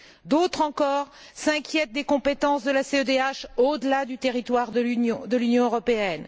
D'autres encore s'inquiètent des compétences de la CEDH au delà du territoire de l'Union européenne.